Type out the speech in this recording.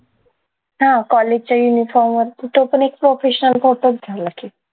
हा college च्या uniform वर तो पण एक professional करतात दिला की